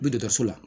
Be dɔgɔtɔrɔso la